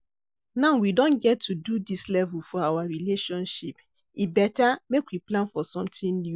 now we don get to dis level for our relationship, e beta make we plan for something new.